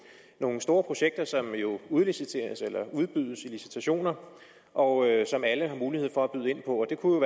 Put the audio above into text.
nogle store projekter som jo udliciteres eller udbydes i licitationer og som alle har mulighed for at byde ind på det kunne